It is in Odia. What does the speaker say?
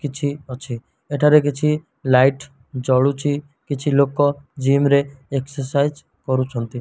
କିଛି ଅଛି। ଏଠାରେ କିଛି ଲାଇଟ୍ ଜଳୁଚି କିଛି ଲୋକ ଜିମ୍ ରେ ଏକ୍ସେସାଇଜି କରୁଛନ୍ତି।